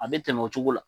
A bɛ tɛmɛ o cogo la